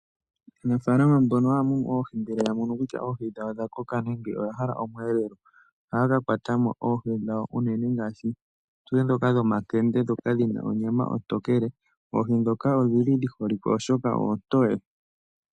Aanafaalama mbono haya mu nu oohi, ngele ya mono kutya oohi dhawo odha koka noya hala okweelela, ohaya ka kwata mo oohi dhawo unene ngaashi ndhoka dhomakende, ndhoka dhi na onyama ontookele. Oohi ndhoka odhi holike, oshoka oontoye.